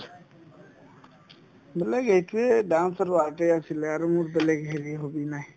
বেলেগ এইটোয়ে dance আৰু art য়ে আছিলে আৰু মোৰ বেলেগ হেৰি hobby নাই